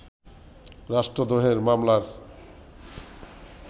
রাষ্ট্রদ্রোহের মামলার